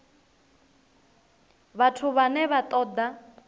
vhathu vhane vha ṱo ḓa